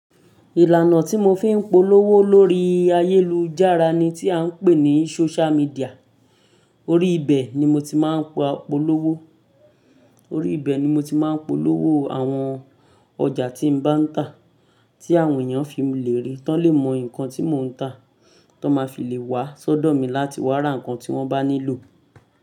Ìlànà tí mo fi ń polówó lórí ayélujára ni tí a ń pè ní social media. Orí ibẹ̀ ni mo ti máa ń polówó, orí ibẹ̀ ni mo ti máa ń polówó àwọn ọjà tí mo bá ń tà, tí àwọn èèyàn fi lè rí, to lè mọ nǹkan tí mò ń tà, to máa fi lè wá sọ́dọ̀ mi láti wá ra ǹkan tí wọ́n bá nílò.